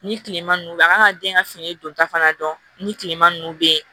Ni kilema nunnu bɛ yen a kan ka den ka fini donta fana dɔn ni kilema nunnu bɛ ye